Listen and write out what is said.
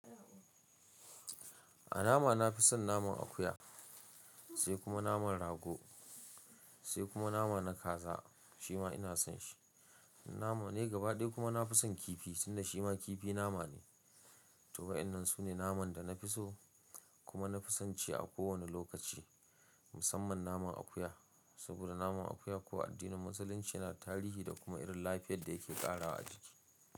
A nama nafi son naman akuya, sai kuma naman rago, sai kuma nama na kaza shima ina son shi. Nama dai gaba ɗaya kuma nafi son kifi tunda shima kifi nama ne. To wa'inan su ne naman da na fi so kuma na fi son ci a kowane lokaci. Musamman naman akuya, saboda naman akuya ko a addinin musulunci yana tarihi da kuma irin lafiyar da yake ƙara wa jiki.